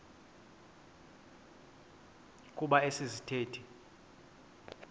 kuba esi sithethe